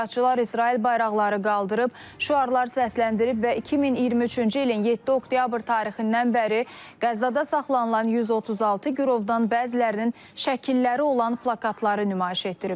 Etirazçılar İsrail bayraqları qaldırıb, şüarlar səsləndirib və 2023-cü ilin 7 oktyabr tarixindən bəri Qəzzada saxlanılan 136 girovdan bəzilərinin şəkilləri olan plakatları nümayiş etdiriblər.